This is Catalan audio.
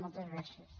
moltes gràcies